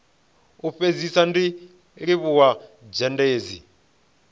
u fhedzisa ndi livhuwa zhendedzi